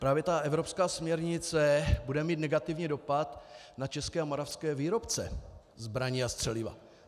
Právě ta evropská směrnice bude mít negativní dopad na české a moravské výrobce zbraní a střeliva.